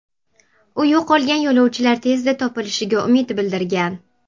U yo‘qolgan yo‘lovchilar tezda topilishiga umid bildirgan.